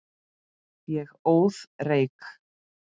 Ég óð reyk.